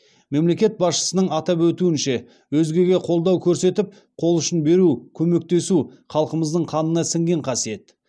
мемлекет басшысының атап өтуінше өзгеге қолдау көрсетіп қол ұшын беру көмектесу халқымыздың қанына сіңген қасиет